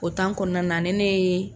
O kɔnɔna na ni ne ye